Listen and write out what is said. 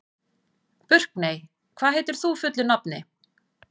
Burkney, hvað heitir þú fullu nafni?